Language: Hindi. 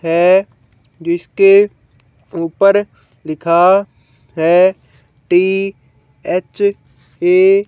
है जिसके ऊपर लिखा है टी_एच_ए --